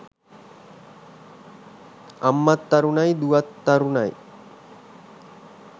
අම්මත් තරුණයි දුවත් තරුණයි.